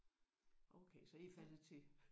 Okay så I er faldet til